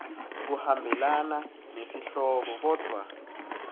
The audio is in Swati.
kuhambelana nesihloko kodvwa